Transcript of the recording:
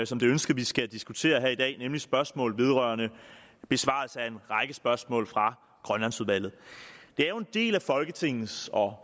som det ønskes vi skal diskutere her i dag nemlig spørgsmål vedrørende besvarelse af en række spørgsmål fra grønlandsudvalget det er jo en del af folketingets og